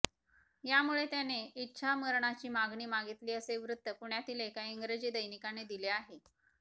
यामुळे त्याने इच्छामरणाची मागणी मागितली असे वृत्त पुण्यातील एका इंग्रजी दैनिकाने दिले आहे